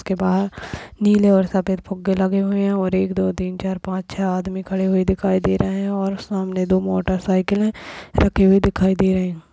उसके बाहर नीले और सफेद फुग्गे लगे हुए है और एक दो तीन चार पाँच छह आदमी खड़े हुए दिखाई दे रहे हैं और सामने दो मोटर साइकिले रखी हुई दिखाई दे रही हैं।